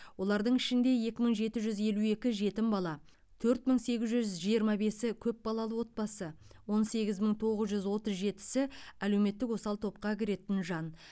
олардың ішінде екі мың жеті жүз елу екі жетім бала төрт мың сегіз жүз жиырма бесі көпбалалы отбасы он сегіз мың тоғыз жүз отыз жетісі әлеуметтік осал топқа кіретін жан